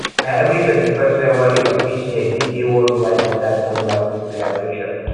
na every 21st february of each year be dey worldwide mother tongue language celebration